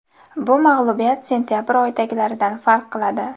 Bu mag‘lubiyat sentabr oyidagilaridan farq qiladi.